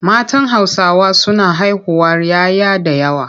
Matan Hausawa suna haihuwar 'ya 'ya da yawa.